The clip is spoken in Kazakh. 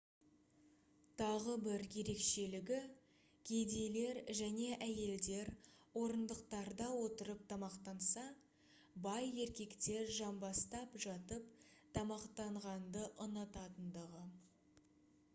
тағы бір ерекшелігі кедейлер және әйелдер орындықтарда отырып тамақтанса бай еркектер жамбастап жатып тамақтанғанды ұнататындығы